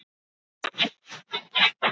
Síðan sneri hann sér að kúnnunum.